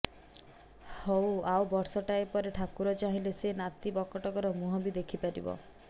ହଅ ଆଉ ବର୍ଷଟାଏ ପରେ ଠାକୁର ଚାହିଁଲେ ସେ ନାତି ବକଟକର ମୁହଁ ବି ଦେଖିପାରିବ